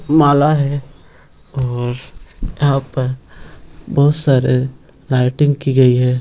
माला है उम्म यहाँ पर | बहुत सारे की गयी है |